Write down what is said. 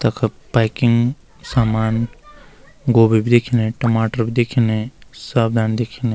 तख पैकिंग समान गोभी भी दिखेणे टमाटर भी दिखने सब धाणी दिखेने।